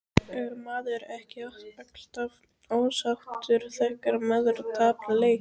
Er maður ekki alltaf ósáttur þegar maður tapar leik?